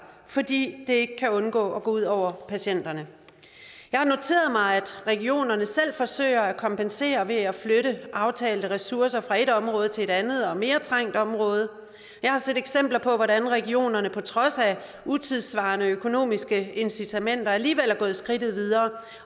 fordi det ikke kan undgå at gå ud over patienterne jeg har noteret mig at regionerne selv forsøger at kompensere ved at flytte aftalte ressourcer fra et område til et andet og mere trængt område jeg har set eksempler på hvordan regionerne på trods af utidssvarende økonomiske incitamenter alligevel er gået skridtet videre